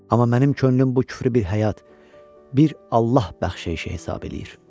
Amma mənim könlüm bu küfrü bir həyat, bir Allah bəxşeyişi hesab eləyir.